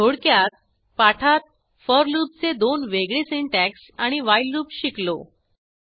थोडक्यात पाठात फोर लूपचे दोन वेगळे सिंटॅक्स आणि व्हाईल लूप शिकलो